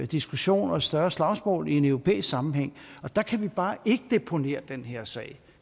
diskussion og et større slagsmål i en europæisk sammenhæng og der kan vi bare ikke deponere den her sag